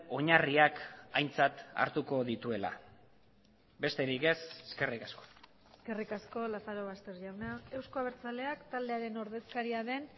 oinarriak aintzat hartuko dituela besterik ez eskerrik asko eskerrik asko lazarobaster jauna euzko abertzaleak taldearen ordezkaria den